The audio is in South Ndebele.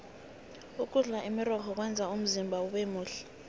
ukudla imirorho kwenza umzimba ubemuhle